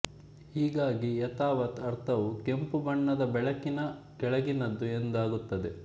ಹೀಗಾಗಿ ಯಥಾವತ್ ಅರ್ಥವು ಕೆಂಪು ಬಣ್ಣದ ಬೆಳಕಿನ ಕೆಳಗಿನದ್ದು ಎಂದಾಗುತ್ತದೆ